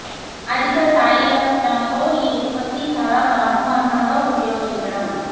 అధిక శారీరక శ్రమ తో ఈ ఉత్పత్తి చాలా సమర్థవంతంగా ఉపయోగించడం